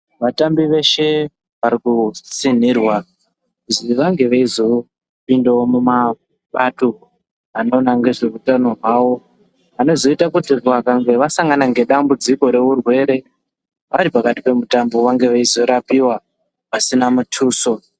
Vatambi veshe varikutsinirwa kuzi vange veizopindawo mumabato anoona nezve utano hwavo vanozoita kuti vasangana nedambudziko reurwere varipakati pemitambo vazorapiwa pasina mutuso